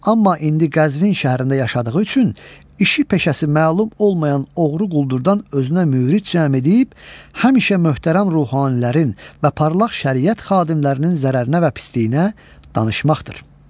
Amma indi Qəzvin şəhərində yaşadığı üçün işi-peşəsi məlum olmayan oğru-quldurdan özünə müriç cəm edib həmişə möhtərəm ruhanilərin və parlaq şəriət xadimlərinin zərərinə və pisliyinə danışmaqdır.